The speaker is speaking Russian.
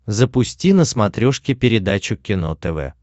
запусти на смотрешке передачу кино тв